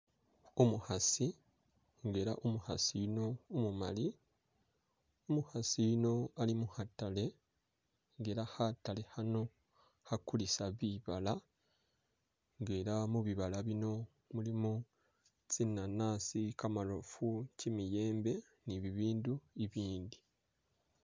Umukhaasi nga ela umukhaasi yuno umumali, umukhasi yuno ali mukhatale nga ela khatale khano khakulisa bibala nga ela mubibala muno mulimo tsinanasi, kamarofu, kimiyembe ni bibindu bibindi